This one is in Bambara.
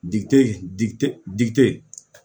D di